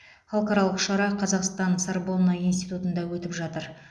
халықаралық шара қазақстан сарбонна институтында өтіп жатыр